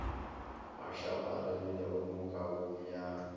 a šaparegilego mo kabong ya